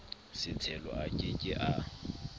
setshelo a ke ke a